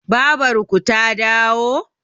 babarku ta dawo?